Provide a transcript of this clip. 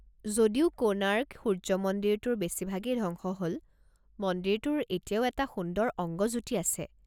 যদিও কোণাৰ্ক সূৰ্য মন্দিৰটোৰ বেছিভাগেই ধ্বংস হ'ল, মন্দিৰটোৰ এতিয়াও এটা সুন্দৰ অংগজ্যোতি আছে।